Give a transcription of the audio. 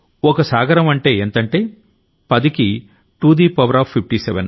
ఓ సాగరం అంటే ఎంతంటే పదికి టూదీ పవర్ ఆఫ్ 57